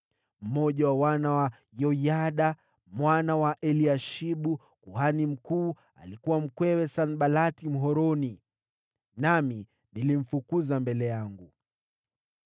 Mmoja wa wana wa Yoyada mwana wa Eliashibu kuhani mkuu alikuwa mkwewe Sanbalati Mhoroni. Nami nilimfukuza mbele yangu.